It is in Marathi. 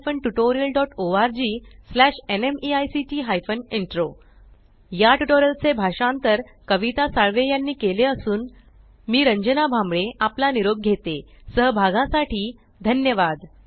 या ट्यूटोरियल चे भाषांतर कविता साळवे यानी केले असून मी रंजना भांबळे आपला निरोप घेते सहभागासाठी धन्यवाद